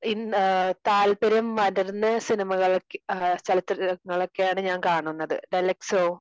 താല്പര്യം മദറിന് സിനിമകൾക്ക് ഏഹ് ചലച്ചിത്രങ്ങളൊക്കെയാണ് ഞാൻ കാണുന്നത്. ദലക്ഷോ?